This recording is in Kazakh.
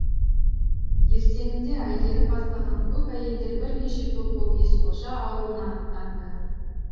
ертеңінде әйгерім бастаған көп әйелдер бірнеше топ боп есқожа аулына аттанды